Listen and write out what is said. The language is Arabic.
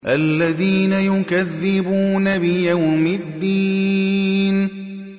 الَّذِينَ يُكَذِّبُونَ بِيَوْمِ الدِّينِ